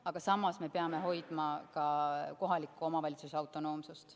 Aga samas me peame hoidma ka kohaliku omavalitsuse autonoomsust.